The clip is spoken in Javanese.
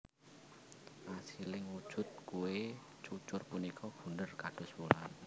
Asiling wujud kué cucur punika bunder kados wulan